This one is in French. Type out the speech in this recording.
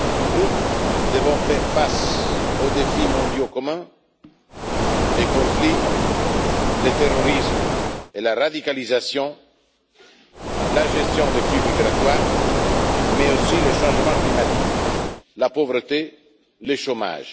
Nous devons faire face aux défis mondiaux communs les conflits, les terrorismes et la radicalisation, la gestion des flux migratoires, mais aussi le changement climatique, la pauvreté et le chômage.